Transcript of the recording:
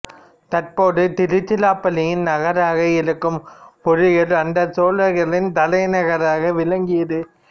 தற்போது திருச்சிராப்பள்ளியின் நகராக இருக்கும் உறையூர் அன்றைய சோழர்களின் தலைநகராக விளங்கியது